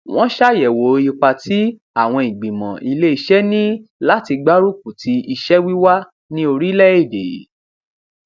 wọn ṣàyèwò ipa tí àwọn ìgbìmọ ilé iṣẹ ní láti gbárùkù ti iṣẹ wíwá ní orílẹ èdè